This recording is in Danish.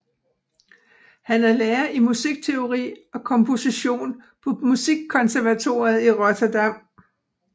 Han er lærer i musikteori og komposition på Musikkonservatoriet i Rotterdam